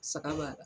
Saga b'a la